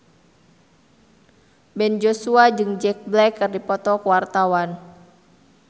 Ben Joshua jeung Jack Black keur dipoto ku wartawan